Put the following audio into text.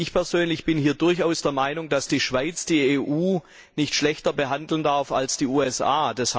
Ich persönlich bin der Meinung, dass die Schweiz die EU nicht schlechter behandeln darf als die USA.